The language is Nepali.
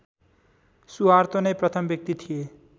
सुहार्तो नै प्रथम व्यक्ति थिए